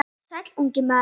Sæll, ungi maður.